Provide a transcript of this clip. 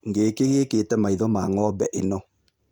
Ngĩkĩ gĩkĩte maitho ma ng'ombe ĩno